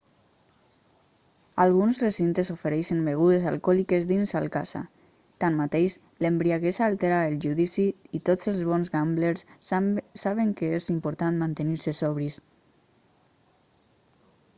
alguns recintes ofereixen begudes alcohòliques dins al casa tanmateix l'embriaguesa altera el judici i tots els bons gamblers saben que és important mantenir-se sobris